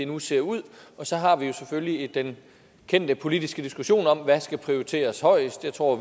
nu ser ud og så har vi selvfølgelig den kendte politiske diskussion om hvad der skal prioriteres højest jeg tror